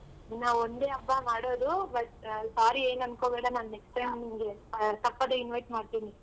ಇನ್ನ ಒಂದೇ ಹಬ್ಬ ಮಾಡೋದು but sorry ಏನ್ ಅನ್ಕೋಬೇಡ ನಾನ್ next time ನಿಂಗೆ ತಪ್ಪದೆ invite ಮಾಡ್ತೀನಿ.